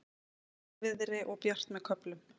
Hægviðri og bjart með köflum